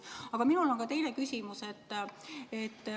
Aga minul on ka teine küsimus.